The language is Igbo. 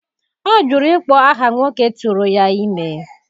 Ọ jụrụ ịkpọ aha nwoke tụrụ ya ime.